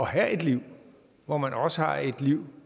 have et liv hvor man også har et liv